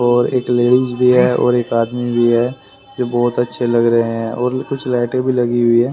और एक लेडीज भी है और एक आदमी भी है जो बहुत अच्छे लग रहे हैं और कुछ लाइट भी लगी हुई है।